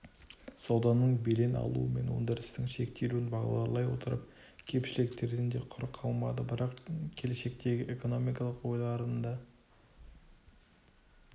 сауданың белең алуы мен өндірістің шектелуін бағдарлай отырып кемшіліктерден де құр қалмады бірақ келешектегі экономикалық ойлардың да